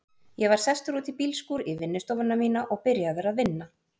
Ég var sestur út í bílskúr, í vinnustofuna mína, og byrjaður að vinna.